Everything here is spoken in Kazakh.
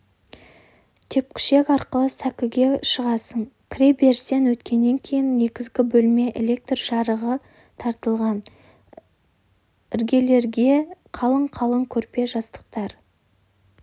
тепкішек арқылы сәкіге шығасың кіре берістен өткеннен кейін негізгі бөлме электр жарығы тартылған іргелерде қалың-қалың көрпе-жастықтар